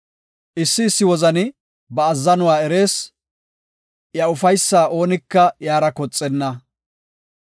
Issi issi wozani ba azzanuwa erees; iya ufaysa oonika iyara koxenna.